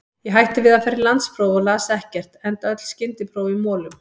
Ég hætti við að fara í landspróf og las ekkert, enda öll skyndipróf í molum.